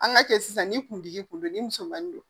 An ka cɛ sisan ni kuntigi kun don ni musomannin don